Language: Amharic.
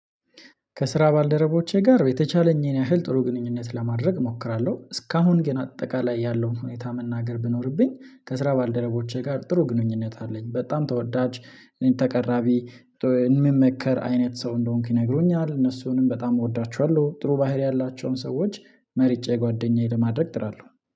ከስራ ባልደረቦቼ ጋር በተቻለኝ ያህል ጥሩ ግንኙነት ለማድረግ እሞክራለሁ። እስካሁን ግን አጠቃላይ ያለውን ሁኔታ መናገር ቢኖርብኝ ከስራ ባልደረቦቼ ጋር ጥሩ ግንኙነት አለኝ። በጣም ተወዳጅ እኔን ተቀራቢ የምመከር አይነት ሰው እንደሆንኩ ይነግሩኛል። እነሱንም በጣም እወዳቸዋለሁ። ጥሩ ባህሪ ያላቸውን ሰዎች መርጬ ጓደኛዬ ለማድረግ እጥራለሁ።